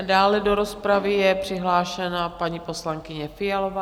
A dále do rozpravy je přihlášena paní poslankyně Fialová.